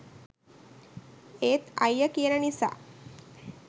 ඒත් අයියා කියන නිසා